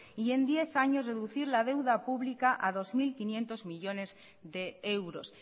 y en diez años reducir la deuda pública a dos mil quinientos millónes de euros